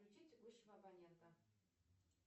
включить текущего абонента